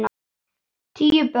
Tíu börn.